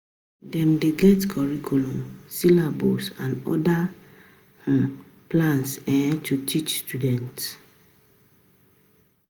Dem dey get Curriculum, syllabus and oda um plans um to teach students